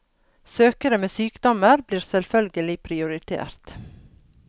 Søkere med sykdommer blir selvfølgelig prioritert.